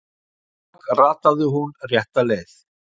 Rammskökk rataði hún rétta leið.